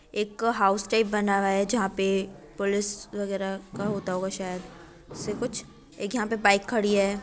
एक house type बना हुआ है जहाँ पे पुलिस वगैरा का होता होगा शायद इससे कुछ एक यहाँ पे बाइक खड़ी है